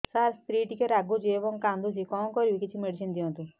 ସାର ସ୍ତ୍ରୀ ଟିକେ ରାଗୁଛି ଏବଂ କାନ୍ଦୁଛି କଣ କରିବି କିଛି ମେଡିସିନ ଦିଅନ୍ତୁ